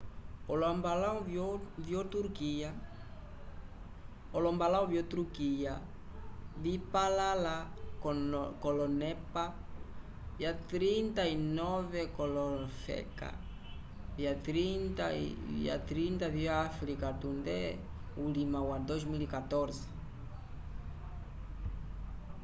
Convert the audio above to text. olombalãwu vyoturkiya vipalãla k'olonepa 39 k'olofeka 30 vyo-afrika tunde ulima wa 2014